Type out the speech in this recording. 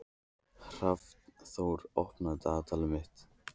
Hrafnþór, opnaðu dagatalið mitt.